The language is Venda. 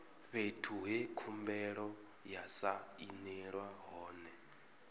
fhethu he khumbelo ya sainelwa hone